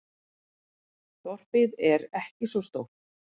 Þorpið er ekki svo stórt.